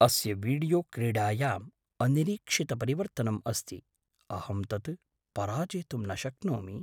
अस्य वीडियो क्रीडायाम् अनिरीक्षितपरिवर्तनम् अस्ति। अहं तत् पराजेतुं न शक्नोमि!